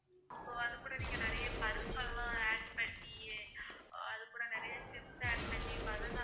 so அது கூட நீங்க நிறைய பருப்பு எல்லாம் add பண்ணி அது கூட நிறைய chips add பண்ணி banana